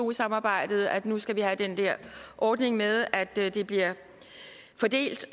eu samarbejdet at nu skal vi have den der ordning med at det bliver fordelt